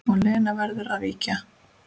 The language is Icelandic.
Og Lena verður að víkja.